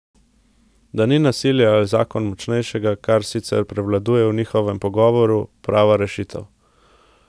Da ni nasilje ali zakon močnejšega, kar sicer prevladuje v njihovem pogovoru, prava rešitev ...